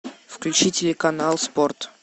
включи телеканал спорт